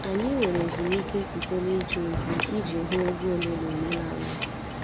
Anyị nwere ezumike site nije ozi iji hụ egwu ole na ole námá.